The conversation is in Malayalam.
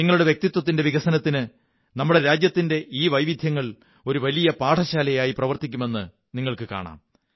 നിങ്ങളുടെ വ്യക്തിത്വത്തിന്റെ വികസനത്തിന് നമ്മുടെ രാജ്യത്തിന്റെ ഈ വൈവിദ്ധ്യങ്ങൾ ഒരു വലിയ പാഠശാലയായി പ്രവര്ത്തി ക്കുമെന്നു നിങ്ങള്ക്കു കാണാം